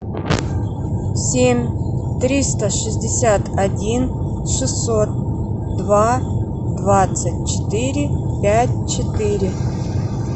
семь триста шестьдесят один шестьсот два двадцать четыре пять четыре